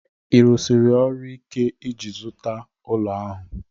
Ị rụsiri ọrụ ike iji ịzụta ụlọ ahụ?